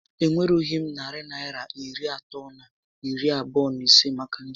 E nwerughị m narị Naịra iri atọ na iri abụọ na ise maka njem